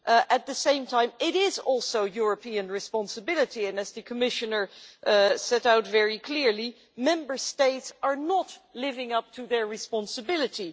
At the same time, it is also a European responsibility and, as the Commissioner set out very clearly, Member States are not living up to their responsibility.